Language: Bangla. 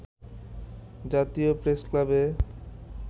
জাতীয় প্রেসক্লাবে